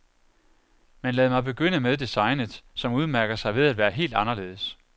Men lad mig begynde med designet, som udmærker sig ved at være helt anderledes.